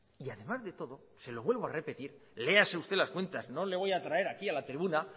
y además de todo se lo vuelvo a repetir léase usted las cuentas no le voy a traer aquí a la tribuna